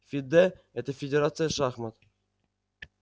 фидэ это федерация шахмат